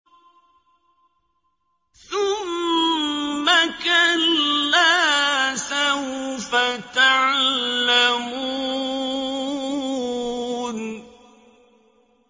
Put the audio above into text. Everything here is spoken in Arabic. ثُمَّ كَلَّا سَوْفَ تَعْلَمُونَ